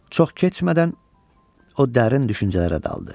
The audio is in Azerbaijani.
Çox keçmədən o dərin düşüncələrə daldı.